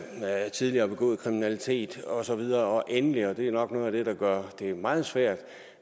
tidligere begået kriminalitet og så videre og endelig og det er nok noget af det der gør det meget svært